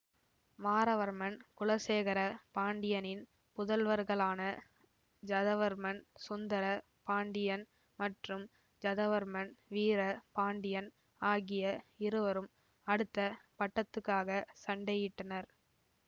மாறவர்மன் குலசேகர பாண்டியனின் புதல்வர்களான ஜதவர்மன் சுந்தர பாண்டியன் மற்றும் ஜதவர்மன் வீர பாண்டியன் ஆகிய இருவரும் அடுத்த பட்டத்துக்காக சண்டையிட்டனர்